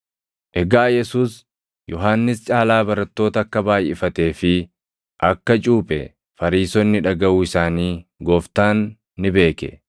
Egaa Yesuus Yohannis caalaa barattoota akka baayʼifatee fi akka cuuphe Fariisonni dhagaʼuu isaanii Gooftaan ni beeke;